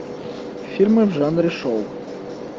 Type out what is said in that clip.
фильмы в жанре шоу